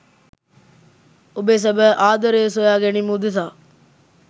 ඔබේ සැබෑ ආදරය සොයා ගැනීම උදෙසා